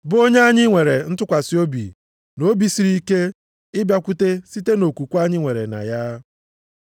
bụ onye anyị nwere ntụkwasị obi na obi siri ike ịbịakwute site nʼokwukwe anyị nwere na ya.